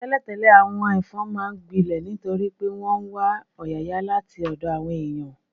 Tẹ́lẹ̀tẹ́lẹ̀, àwọn ẹ̀fọn máa ń gbilẹ̀ nítorí pé wọ́n ń wá ọ̀yàyà láti ọ̀dọ̀ àwọn èèyàn